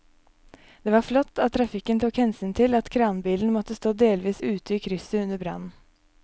Det var flott at trafikken tok hensyn til at kranbilen måtte stå delvis ute i krysset under brannen.